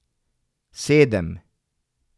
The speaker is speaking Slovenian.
Sedem.